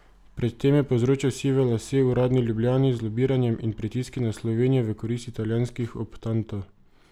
Pred tem je povzročal sive lase uradni Ljubljani z lobiranjem in pritiski na Slovenijo v korist italijanskih optantov.